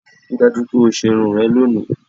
Rí i dájú wípé o ṣe irun rẹ lónìí